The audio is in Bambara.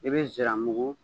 I bɛ nsiramugu